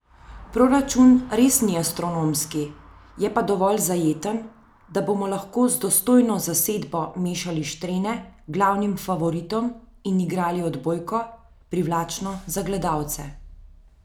Proračun res ni astronomski, je pa dovolj zajeten, da bomo lahko z dostojno zasedbo mešali štrene glavnim favoritom in igrali odbojko, privlačno za gledalce.